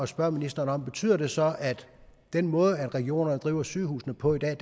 spørge ministeren betyder det så at den måde regionerne driver sygehusene på i dag